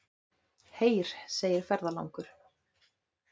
Heyr, segir ferðalangur.